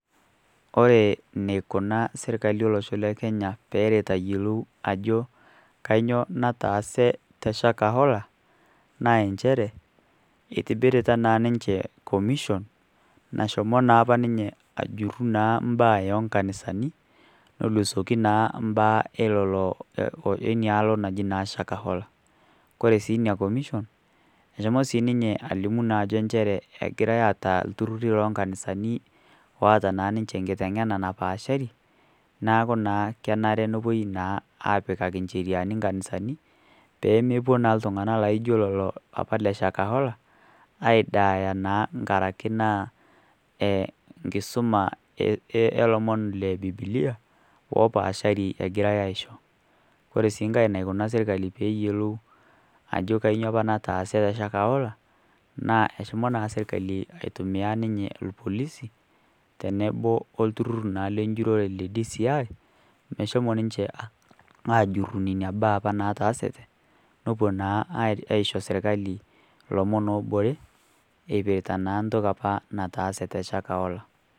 Kore neikuna sirkali o losho le Kenya peeret ayiolou ajo kainyo nataase te Shakahola naa enchere eitobirita naa ninche commission nashomo naa apa ninye ajurru naa mbaa ee nkanisani nolusoki naa mbaa enialo naji naa Shakahola. Kore sii nia commission eshomo sii ninye alimu naa ajo enchere egirai aata lturrurri loo nkanisani oaata naa ninche enkiteng'ena napaashari naaku naa kenare nopuoi naa aapikaki ncheriani nkanisani poomopuo naa ltung'ana laijo lolo apa le Shakahola aaidaaya naa nkaraki nkisuma ee lomon le Bibilia oopaashari egirai aaisho. Kore sii nkae naikuna sirkali peeyuolou ajo kainyo apa nataase te Shakahola naa eshomo naa sirkali aitumiyaa ninye lpolisi tenebo o lturrurr le njurrore le DCI meshomo ninche aajurru nenia baa apa naataasete nopuo naa aaisho sirkali lomon oobore eipirta naa ntoki apa nataase te Shakahola.